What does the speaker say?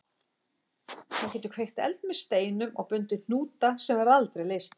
Hann getur kveikt eld með steinum og bundið hnúta sem aldrei verða leystir.